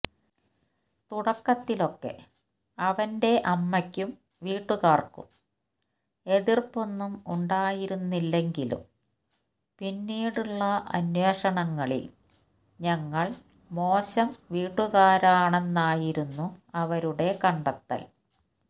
തുടക്കത്തിലൊക്കെ അവന്റെ അമ്മയ്ക്കും വീട്ടുകാര്ക്കും എതിര്പ്പൊന്നും ഉണ്ടായിരുന്നില്ലെങ്കിലും പിന്നീടുള്ള അന്വേഷണങ്ങളില് ഞങ്ങള് മോശം വീട്ടുകാരാണെന്നായിരുന്നു അവരുടെ കണ്ടെത്തല്